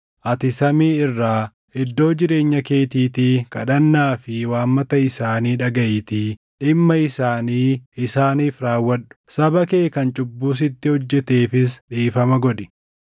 ati samii irraa, iddoo jireenya keetiitii kadhannaa fi waammata isaanii dhagaʼiitii dhimma isaanii isaaniif raawwadhu. Saba kee kan cubbuu sitti hojjeteefis dhiifama godhi.